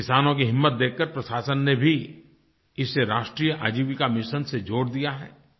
किसानों की हिम्मत देखकर प्रशासन ने भी इसे राष्ट्रीय आजीविका मिशन से जोड़ दिया है